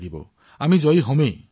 নিশ্চয়কৈ জয়ী হব লাগিব